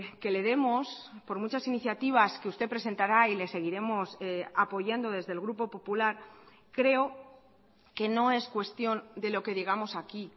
que le demos por muchas iniciativas que usted presentará y le seguiremos apoyando desde el grupo popular creo que no es cuestión de lo que digamos aquí